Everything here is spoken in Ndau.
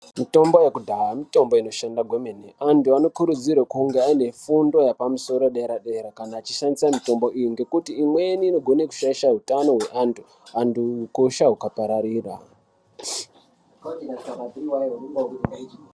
Mitombo yekudhaya mitombo inoshanda kwemene. Antu anokurudzirwe kunge aine fundo yepamusoro yedera-dera kana achishandisa mitombo iyi ngekuti imweni inogona kushaisha utano hweantu, antu ukosha hukapararira.